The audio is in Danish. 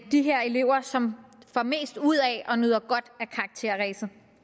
de her elever som får mest ud af og nyder godt af karakterræset